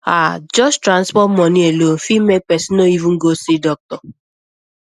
ah just transport money alone fit make person no even go see doctor